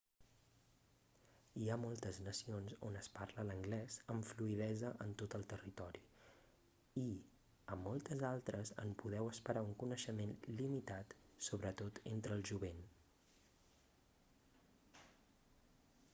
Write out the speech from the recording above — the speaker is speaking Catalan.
hi ha moltes nacions on es parla l'anglès amb fluïdesa en tot el territori i a moltes altres en podeu esperar un coneixement limitat sobretot entre el jovent